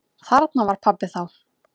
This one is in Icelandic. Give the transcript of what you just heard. Þarna var pabbi þá.